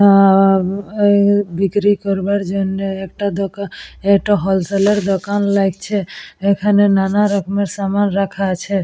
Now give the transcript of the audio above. আ-আ- বিক্রি করবার জন্যে একটা দোকা- একটা হোলসেলের দোকান লাগছে এইখানে নানারকমের সামান রাখা আছে।